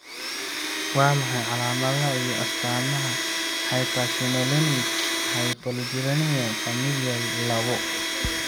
Waa maxay calaamadaha iyo astaamaha Hyperinsulinemic hypoglycemia familial lawo?